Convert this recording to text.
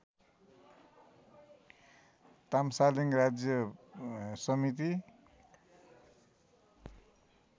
ताम्सालीङ राज्य समिति